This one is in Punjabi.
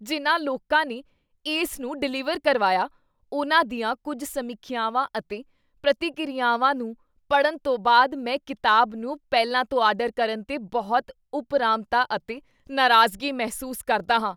ਜਿਨ੍ਹਾਂ ਲੋਕਾਂ ਨੇ ਇਸ ਨੂੰ ਡਿਲਿਵਰ ਕਰਵਾਇਆ, ਉਨ੍ਹਾਂ ਦੀਆਂ ਕੁੱਝ ਸਮੀਖਿਆਵਾਂ ਅਤੇ ਪ੍ਰਤੀਕੀਰਿਆਵਾਂ ਨੂੰ ਪੜ੍ਹਨ ਤੋਂ ਬਾਅਦ ਮੈਂ ਕਿਤਾਬ ਨੂੰ ਪਹਿਲਾਂ ਤੋਂ ਆਰਡਰ ਕਰਨ 'ਤੇ ਬਹੁਤ ਉਪਰਾਮਤਾ ਅਤੇ ਨਾਰਾਜ਼ਗੀ ਮਹਿਸੂਸ ਕਰਦਾ ਹਾਂ।